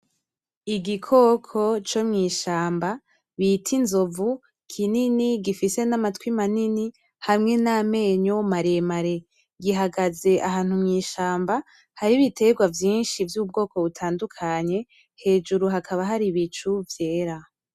Igikoko co mw'ishamba bita inzovu kinini, gifise n'amatwi manini hamwe n'amenyo maremare. Gihagaze ahantu mw'ishamba hari ibiterwa vyinshi vy'ubwoko butandukanye. Hejuru hakaba hari ibicu vyera.